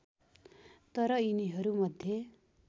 तर यिनीहरू मध्ये